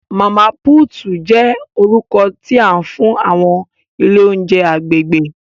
Mama Puutu jẹ orukọ ti a fun awọn ile ounjẹ agbegbe.